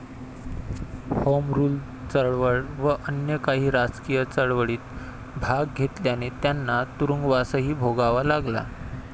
Home Rule चळवळ व अन्य काही राजकीय चळवळीत भाग घेतल्याने त्यांना तुरुंगवासही भोगावा लागला.